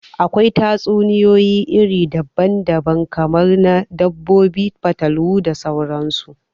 Akwai tatsuniyoyi iri daban daban, kamar na dabbobi, fatalwa da sauran su